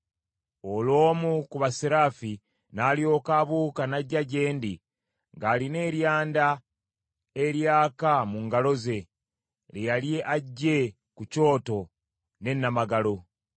Olwo omu ku basseraafi n’alyoka abuuka n’ajja gye ndi ng’alina eryanda eryaka mu ngalo ze, lye yali aggye ku kyoto ne nnamagalo.